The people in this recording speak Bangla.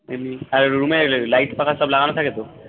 আর room এ light পাখা সব লাগানো থাকে তো